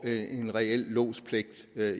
en reel lodspligt